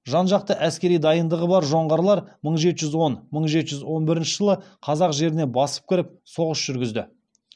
жан жақты әскери дайындығы бар жоңғарлар мың жеті жүз он мың жеті жүз он бірінші жылы қазақ жеріне басып кіріп соғыс жүргізді